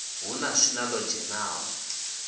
hu na swina ḽo dzhenaho